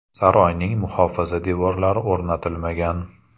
Saroyning muhofaza devorlari o‘rnatilmagan.